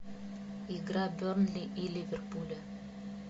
игра бернли и ливерпуля